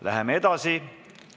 Läheme edasi.